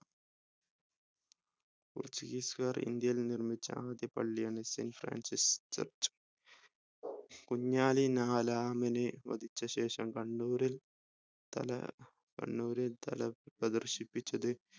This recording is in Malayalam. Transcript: portuguese കാർ ഇന്ത്യയിൽ നിർമ്മിച്ച ആദ്യ പള്ളിയാണ് Saint Francis Church കുഞ്ഞാലി നഹ്‌ലാമിനെ വധിച്ചശേഷം കണ്ണൂരിൽ തല കണ്ണൂരിൽ തല പ്രദർശിപ്പിച്ചത്